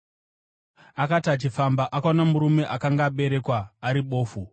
Akati achifamba, akaona murume akanga aberekwa ari bofu.